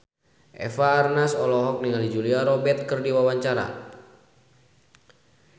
Eva Arnaz olohok ningali Julia Robert keur diwawancara